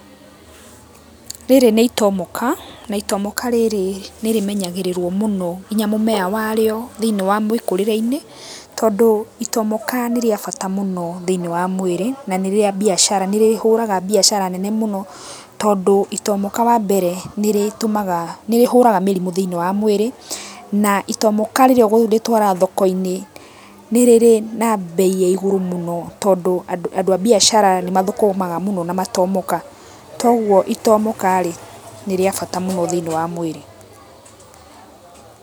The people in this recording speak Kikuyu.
Rĩrĩ nĩ itomoka, na itomoka rĩrĩ nĩ rĩmenyagĩrĩrũo mũno nginya mũmera warĩo thĩiniĩ wa mwĩkũrĩre-inĩ tondũ itomoka nĩ rĩa bata mũno thĩiniĩ wa mwĩrĩ na nĩ rĩa mbiacara, nĩ rĩhũraga mbiacara nene mũno tondũ itomoka wambere nĩ rĩhũraga mĩrimũ thĩiniĩ wa mwĩrĩ na itomoka rĩrĩa ũkũrĩtwara thoko-inĩ nĩ rĩrĩ na mbei ya igũrũ mũno tondũ andũ a mbiacara nĩ mathũkũmaga mũno na matomoka. Koguo itomoka rĩ, nĩ rĩa bata mũno thĩiniĩ wa mwĩrĩ.